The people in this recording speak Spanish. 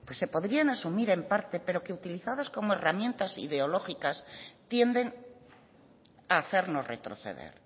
se podrían asumir en parte pero que utilizadas como herramientas ideológicas tienden a hacernos retroceder